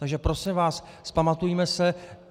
Takže prosím vás, vzpamatujme se.